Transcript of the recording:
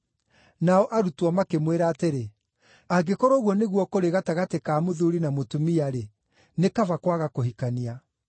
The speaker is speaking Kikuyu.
Nao arutwo makĩmwĩra atĩrĩ, “Angĩkorwo ũguo nĩguo kũrĩ gatagatĩ ka mũthuuri na mũtumia-rĩ, nĩ kaba kwaga kũhikania.”